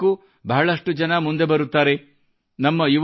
ಅವುಗಳ ಸಹಾಯಕ್ಕೂ ಬಹಳಷ್ಟು ಜನ ಮುಂದೆ ಬರುತ್ತಾರೆ